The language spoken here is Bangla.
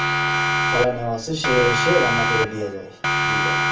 খালা নেয়া আছে সে এসে রান্না করে যায় দুই বেলা